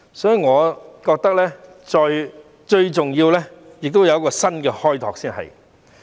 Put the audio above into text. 所以，我覺得最重要的是要有一個新開拓。